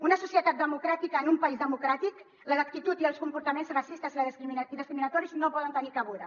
en una societat democràtica en un país democràtic les actituds i els comportaments racistes i discriminatoris no hi poden tenir cabuda